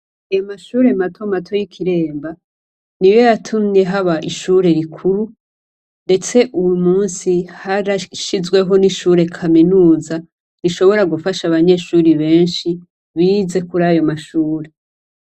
Amashure matomato yikiremba niyo yatumye haba ishure rikuru ndetse uyu musi harashizweho n'ishure kaminuza rishobora gufasha abanyeshure benshi bize kuri ayo mashure.